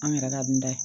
An yɛrɛ ka dunda ye